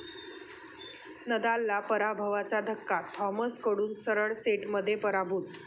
नदालला पराभवाचा धक्का, थॉमसकडून सरळ सेटमध्ये पराभूत